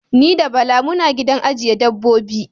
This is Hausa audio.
Ni da Bala muna gidan ajjiye dabbobi.